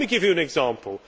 Let me give you an example.